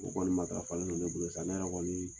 O Kɔɔni matarafalen ne bɛ bolo sa, ne yɛrɛ kɔɔni